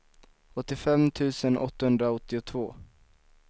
åttiofem tusen åttahundraåttiotvå